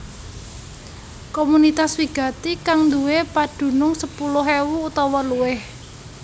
Komunitas wigati kang nduwé padunung sepuluh ewu utawa luwih